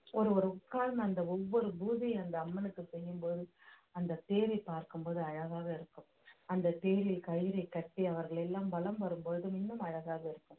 ஒரு ஒருவர் உட்கார்ந்த அந்த ஒவ்வொரு பூஜையும் அந்த அம்மனுக்கு செய்யும்போது அந்த பார்க்கும் போது அழகாக இருக்கும் அந்த தேரில் கயிறை கட்டி அவர்கள் எல்லாம் வலம் வரும் பொழுது இன்னும் அழகாக இருக்கும்